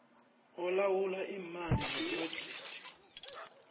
olawula iimali zephrojekthi